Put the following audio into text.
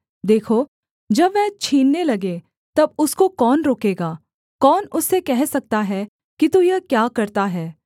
देखो जब वह छीनने लगे तब उसको कौन रोकेगा कौन उससे कह सकता है कि तू यह क्या करता है